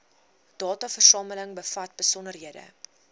dataversameling bevat besonderhede